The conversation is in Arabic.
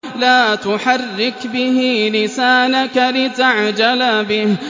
لَا تُحَرِّكْ بِهِ لِسَانَكَ لِتَعْجَلَ بِهِ